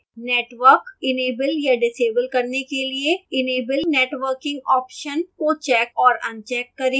network enable या disable करने के लिए enable networking option को check और अनचेक करें